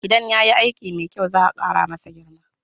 Idan ya yi aiki mai kyau, za'a kara masa girma